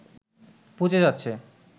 পচে যাচ্ছে